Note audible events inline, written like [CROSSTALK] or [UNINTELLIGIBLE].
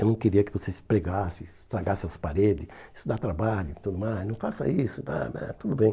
Eu não queria que vocês pregassem, estragassem as paredes, isso dá trabalho e tudo mais, não faça isso, [UNINTELLIGIBLE] tudo bem.